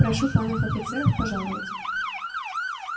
прошу панов офицеров пожаловать